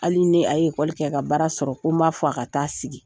Hali ni a ye ekoli kɛ ka baara sɔrɔ ko n b'a fɔ a ka taa sigi.